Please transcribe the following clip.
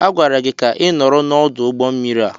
Agwara gị ka ị nọrọ n'ọdụ ụgbọ mmiri a!